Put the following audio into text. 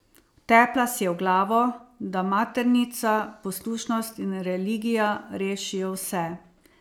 Vtepla si ji v glavo, da maternica, poslušnost in religija rešijo vse.